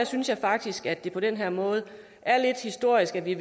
synes jeg faktisk at det på den her måde er lidt historisk at vi